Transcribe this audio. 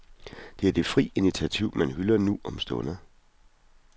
Det er det frie initiativ, man hylder nu om stunder.